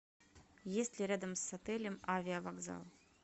есть ли рядом с отелем авиавокзал